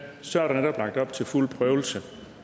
så er der netop lagt op til fuld prøvelse